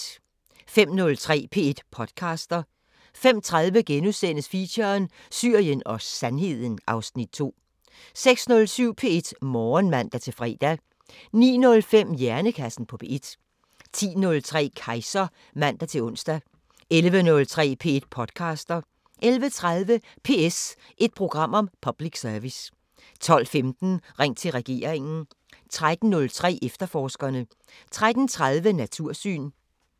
05:03: P1 podcaster 05:30: Feature: Syrien og Sandheden (Afs. 2)* 06:07: P1 Morgen (man-fre) 09:05: Hjernekassen på P1 10:03: Kejser (man-ons) 11:03: P1 podcaster 11:30: PS – et program om public service 12:15: Ring til regeringen 13:03: Efterforskerne 13:30: Natursyn